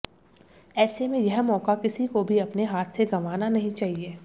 ऐसे में यह मौका किसी को भी अपने हाथ से गंवाना नहीं चाहिए